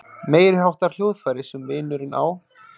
Meiriháttar hljóðfæri sem vinurinn á.